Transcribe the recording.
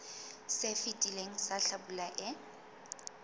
se fetileng sa hlabula e